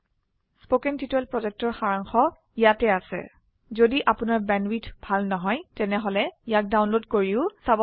কথন শিক্ষণ প্ৰকল্পৰ সাৰাংশ ইয়াত আছে যদি আপোনাৰ বেণ্ডৱিডথ ভাল নহয় তেনেহলে ইয়াক ডাউনলোড কৰি চাব পাৰে